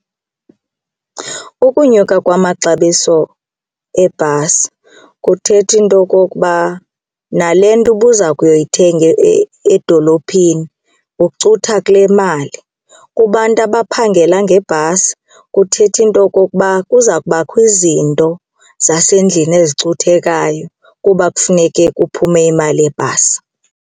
Ukunyuka kwamaxabiso ebhasi kuthetha into yokokuba nale nto ubuza kuyoyithenga edolophini ucutha kule yemali. Kubantu abaphangela ngebhasi kuthetha into yokokuba kuza kubakho izinto zasendlini ezicuthekayo kuba kufuneke kuphume imali yebhasi.